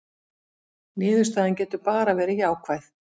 Niðurstaðan getur bara verið jákvæð